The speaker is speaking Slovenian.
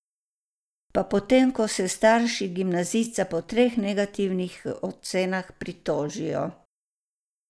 Pa potem ko se starši gimnazijca po treh negativnih ocenah pritožijo.